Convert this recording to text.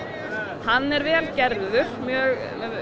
hann er vel gerður með